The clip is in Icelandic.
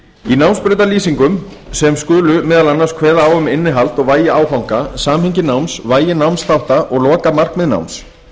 í námsbrautalýsingum sem skulu meðal annars kveða á um innihald og vægi áfanga samhengi náms vægi námsþátta og lokamarkmið náms